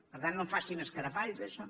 per tant no en facin escarafalls d’això